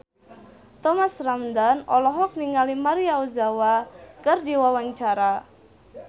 Thomas Ramdhan olohok ningali Maria Ozawa keur diwawancara